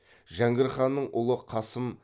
жәңгір ханның ұлы қасым